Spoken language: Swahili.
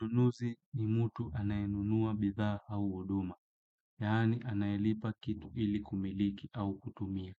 Nunuzi ni mutu anayenunua bithaa au uduma. Yaani anayelipa kitu ili kumiliki au kutumia.